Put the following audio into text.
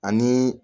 Ani